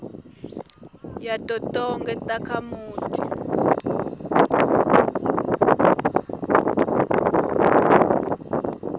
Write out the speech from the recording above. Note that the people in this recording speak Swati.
yato tonkhe takhamiti